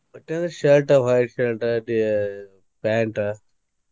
ಬಟ್ಟಿ ಅಂದ್ರ shirt white shirt ಟಿ~ pant .